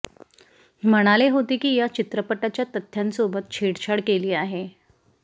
म्हणाले होते की या चित्रपटाच्या तथ्यांसोबत छेडछाड केली आहे